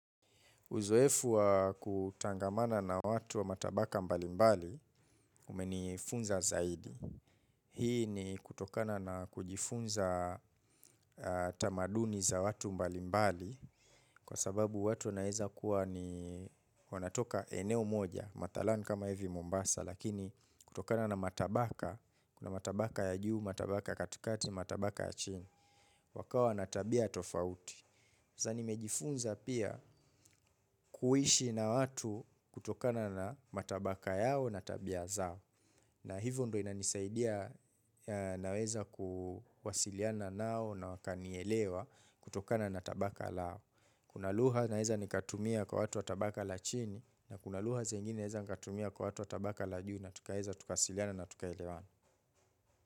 Uzoefu wa kutangamana na watu wa matabaka mbalimbali, umenifunza zaidi. Hii ni kutokana na kujifunza tamaduni za watu mbalimbali kwa sababu watu wanaeza kuwa ni wanatoka eneo moja. Matalan kama hivi Mombasa lakini kutokana na matabaka, kuna tabaka ya juu, matabaka katikati, matabaka ya chini, wakawa na tabia tofauti. Nimejifunza pia kuishi na watu kutokana na matabaka yao na tabia zao na hivyo ndo inanisaidia naweza kuwasiliana nao na wakanielewa kutokana na tabaka lao. Kuna lugha naweza nikatumia kwa watu wa tabaka la chini na kuna lugha zingine naeza nikatumia kwa watu wa tabaka la juu na tukaweza tukawasiliana na tukaelewana.